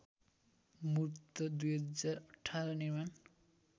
मूर्त २०१८ निर्माण